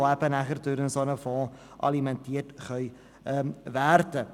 Diese können durch einen solchen Fonds alimentiert werden.